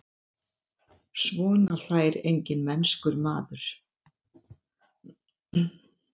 Svona hlær enginn mennskur maður.